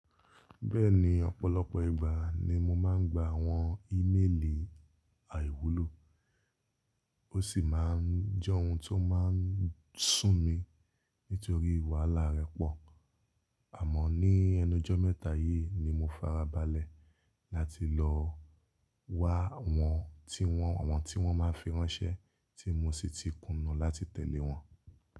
Bẹ́ẹ̀ni, ọ̀pọ̀lọpọ̀ ìgbà ni mo máa ń gba àwọn íméèlì àìwúlò, ó sì máa ń jẹ́ ohun tó máa ń sún mi nítorí wàhálà rẹ̀ pọ̀. Àmọ́ ní ẹnu ojo mẹ́ta yìí ni mo farabalẹ̀ láti lọ wá àwọn tí wọ́n, àwọn tí wọ́n máa fi ránṣẹ́ tí mo sì ti kùnú láti tẹ̀lé wọn.